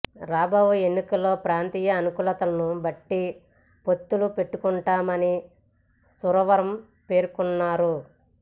రాబోవు ఎన్నికల్లో ప్రాంతీయ అనుకూలతలను బట్టి పొత్తులు పెట్టుకుంటామని సురవరం పేర్కొన్నారు